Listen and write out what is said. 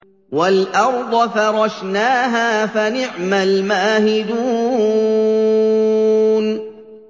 وَالْأَرْضَ فَرَشْنَاهَا فَنِعْمَ الْمَاهِدُونَ